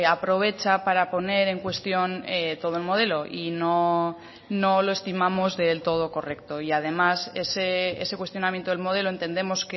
aprovecha para poner en cuestión todo el modelo y no no lo estimamos del todo correcto y además ese cuestionamiento del modelo entendemos